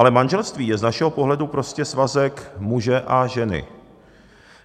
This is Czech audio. Ale manželství je z našeho pohledu prostě svazek muže a ženy.